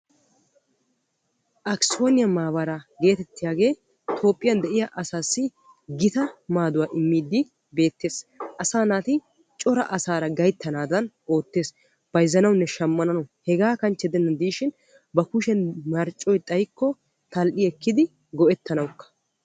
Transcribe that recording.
Aksiyooniyaa maabaraa geetettiyaagee Toophphiyan de'iyaa asaassi gita maaduwaa immiiddi beettees. Asaa naati coraa asaara gayttanaadan oottees. Bayzzanawunne shaammanawu. Heegaa kanchche gidennan de'ishin ba kushiyan marccoy xayikkokka tal"i ekkidi go"ettanawukka.